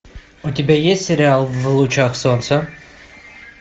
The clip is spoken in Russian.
у тебя есть сериал в лучах солнца